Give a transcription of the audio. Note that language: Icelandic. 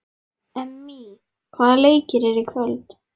Emmý, hvaða leikir eru í kvöld?